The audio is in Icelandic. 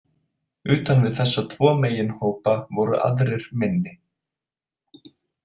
Utan við þessa tvo meginhópa voru aðrir minni.